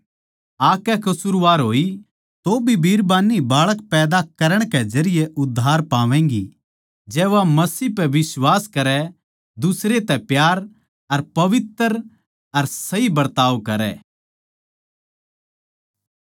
तौभी बिरबान्नी बाळक पैदा करण कै जरिये उद्धार पावैगीं जै वा मसीह पै बिश्वास करै दुसरे तै प्यार अर पवित्र अर सही बरताव करै